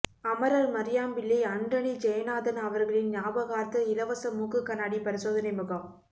அமரர் மரியாம்பிள்ளை அன்ரனி ஜெயநாதன் அவர்களின் ஞாபகார்த்த இலவச மூக்குகண்ணாடி பரிசோதனை முகாம்